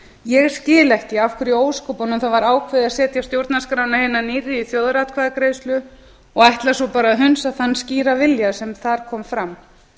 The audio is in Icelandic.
ég skil ekki af hverju í ósköpunum það var ákveðið að setja stjórnarskrána hina nýrri í þjóðaratkvæðagreiðslu og ætla svo bara að hunsa þann skýra vilja sem þar kom fram